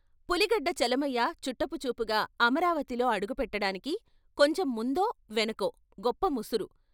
పులిగడ్డ చలమయ్య చుట్టపు చూపుగా అమరావతిలో అడుగుపెట్టడానికీ కొంచెం ముందో, వెనకో గొప్ప ముసురు.